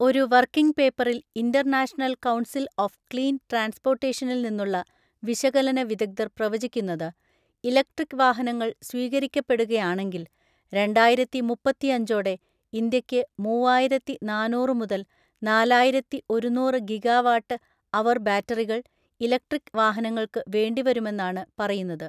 ഒരു വർക്കിംഗ് പേപ്പറിൽ, International Council on Clean ട്രാൻസ്‌പോർട്ടേഷനിൽ നിന്നുള്ള വിശകലന വിദഗ്ധർ പ്രവചിക്കുന്നത്, ഇലക്ട്രിക് വാഹനങ്ങൾ സ്വീകരിക്കപ്പെടുകയാണെങ്കിൽ, രണ്ടായിരത്തി മുപ്പത്തിയഞ്ചോടെ ഇന്ത്യയ്ക്ക് മൂവായിരത്തി നാനൂറ്‌ മുതൽ നാലായിരത്തി ഒരുന്നൂറ്‌ ഗിഗാവാട്ട് അവർ ബാറ്ററികൾ, ഇലക്ട്രിക് വാഹനങ്ങൾക്ക് വേണ്ടിവരുമെന്നാണ് പറയുന്നത്.